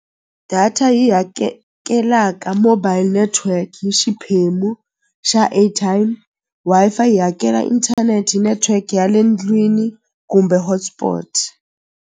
Data yi mobile network hi xiphemu xa airtime Wi-Fi yi hakela internet network ya le ndlwini kumbe hotspot.